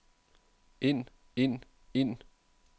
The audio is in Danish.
ind ind ind